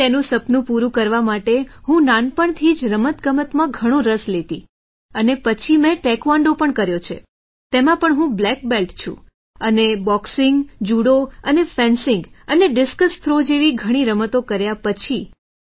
તેથી તેનું સપનું પૂરું કરવા માટે હું નાનપણથી જ રમતગમતમાં ઘણો રસ લેતી હતી અને પછી મેં ટાઇકવોન્ડો પણ કર્યો છે તેમાં પણ હું બ્લેક બેલ્ટ છું અને બોક્સિંગ જુડો અને ફેન્સિંગ અને ડિસ્કસ થ્રો જેવી ઘણી રમતો કર્યા પછી